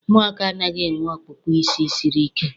Ụmụaka anaghị enwe ọkpụkpụ siri ike.